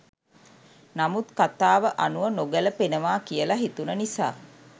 නමුත් කථාව අනුව නොගැළපෙනවා කියලා හිතුණ නිසා